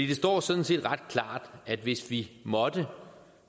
det står sådan set ret klart at hvis vi måtte